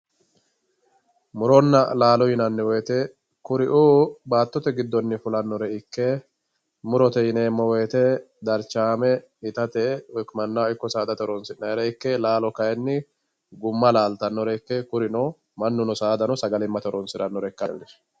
muronna laalo yinanni woyte kuri'uu baatote giddonni fulannore ikke murote yineemmo woyte darchaame itate mannaho ikko saadate horoonsi'nayire ikke laalo kayni gumma laaltannore ikke mannuno saadano sagalimmate horoonsirannore ikkinanno